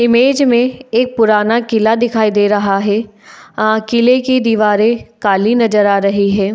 Image में एक पुराना किला दिखाई दे रहा है अ किले की दीवारें काली नजर आ रही हैं।